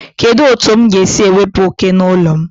Kedu otu m ga-esi wepụ oke n'ụlọ m?